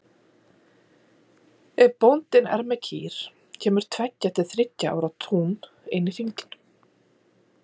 Ef bóndinn er með kýr kemur tveggja til þriggja ára tún inn í hringinn.